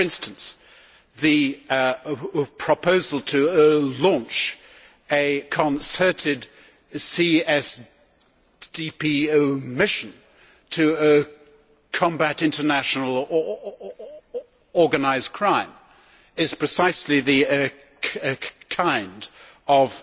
For instance, the proposal to launch a concerted CSDP mission to combat international organised crime is precisely the kind of